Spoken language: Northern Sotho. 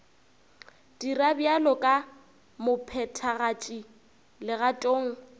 dira bjalo ka mophethagatši legatong